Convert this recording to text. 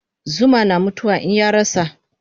Zuma na mutu wa in yarasa